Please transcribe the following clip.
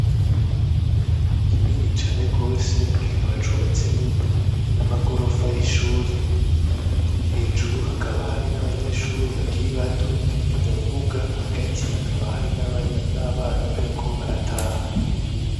Mu kigo kinini cane gose, kikaba cubatsemwo n'amagorofa y'ishuri, hejuru hakaba hari n'abanyeshuri bakiri bato, no mu mbuga hagati hakaba hari n'abana bariko barataha.